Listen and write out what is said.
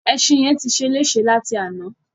Ẹṣin yẹn ti ṣeléṣe láti àná.